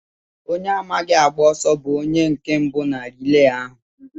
Onye amaghị agba ọsọ bú onye nke mbụ na rilee ahụ.